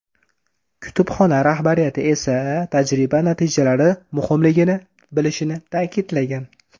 Kutubxona rahbariyati esa tajriba natijalari muhimligini bilishini ta’kidlagan.